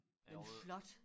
En flot